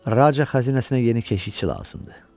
Raca xəzinəsinə yeni keşikçi lazımdır.